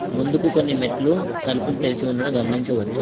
ముందుకు కొన్ని మెట్లు తలుపులు తెరిచి ఉండడం గమనించవచ్చు.